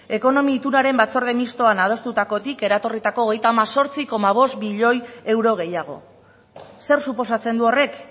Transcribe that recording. ekonomia itunaren batzorde mixtoan adostutakotik eratorritako hogeita hemezortzi koma bost milioi euro gehiago zer suposatzen du horrek